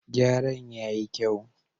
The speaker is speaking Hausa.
Gyaran ya yi kyau.